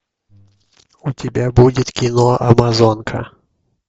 у тебя будет кино амазонка